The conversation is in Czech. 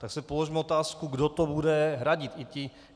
Tak si položme otázku, kdo to bude hradit.